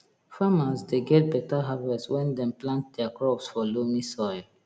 farmers dey get beta harvest when dem plant their crops for loamy soil